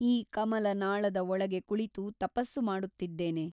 ಈ ಕಮಲನಾಳದ ಒಳಗೆ ಕುಳಿತು ತಪಸ್ಸು ಮಾಡುತ್ತಿದ್ದೇನೆ.